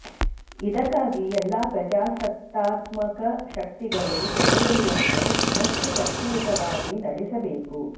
ಇದಕ್ಕಾಗಿ ಎಲ್ಲಾ ಪ್ರಜಾಸತ್ತಾತ್ಮಕ ಶಕ್ತಿಗಳು ಚಳುವಳಿಯನ್ನು ಇನ್ನಷ್ಟು ಶಕ್ತಿಯುತವಾಗಿ ನಡೆಸಬೇಕು